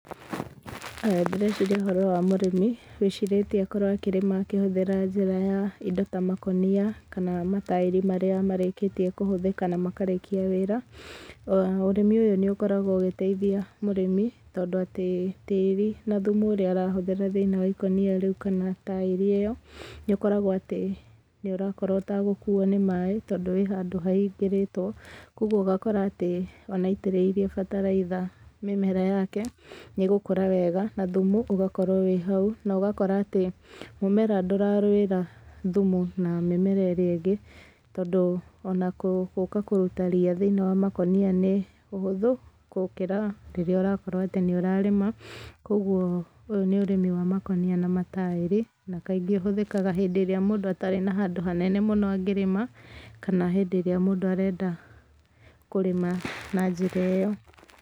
Haya ndĩreciria ũhoro wa mũrĩmi, wĩcirĩtie akorwo akĩrĩma akĩhũthĩra njĩra ya indo ta makũnia, kana mataĩri marĩa marĩkĩtie kũhũthĩka na makarĩkia wĩra. Ũrĩmi ũyũ nĩ ũkoragwo ũgĩteithia mũrĩmi, tondũ atĩ tĩĩri na thumu ũrĩa arahũthĩra thĩiniĩ wa ikũnia rĩu kana taĩri ĩyo, nĩ ũkoragwo atĩ nĩ ũrakorwo ũtagũkuo nĩ maaĩ, tondũ wĩ handũ hahingĩrĩtwo. Koguo ũgakora atĩ, ona aitĩrĩirie bataraitha mĩmera yake, nĩ ĩgũkũra wega, na thumu ũgakorwo wĩ hau, na ũgakora atĩ, mũmera ndũrarũĩra thumu na mĩmera ĩrĩa ĩngĩ, tondũ ona gũũka kũruta ria thĩiniĩ wa makũnia nĩ ũhũthũ, kũkĩra rĩrĩa ũrakorwo atĩ nĩ ũrarĩma. Koguo ũyũ nĩ ũrĩmi wa makũnia na mataĩri, na kaingĩ ũhũthĩkaga hĩndĩ ĩrĩa mũndũ atarĩ na handũ hanene mũno angĩrĩma, kana hĩndĩ ĩrĩa mũndũ arenda kũrĩma na njĩra ĩyo.